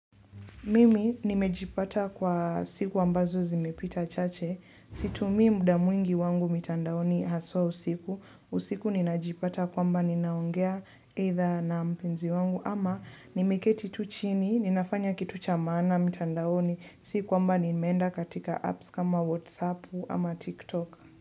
Mimi nimejipata kwa siku ambazo zimepita chache Situmii muda mwingi wangu mitandaoni haswaa usiku usiku ninajipata kwamba ninaongea aidha na mpenzi wangu ama nimeketi tu chini ninafanya kitu cha maana mtandaoni sio kwamba ninaenda katika apps kama katika Whatsapp ama Tiktok.